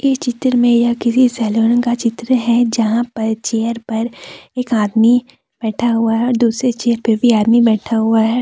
इस चित्र में यह किसी सैलून का चित्र है जहां पर चेयर पर एक आदमी बैठा हुआ है दूसरे चेयर पर भी आदमी बैठा हुआ है।